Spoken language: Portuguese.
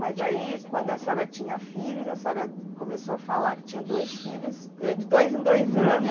Mas aí, quando a senhora tinha filhos, a senhora começou a falar que tinha dois filhos, ãh, de dois em dois anos.